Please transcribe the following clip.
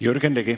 Jürgen Ligi.